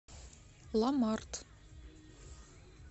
ламарт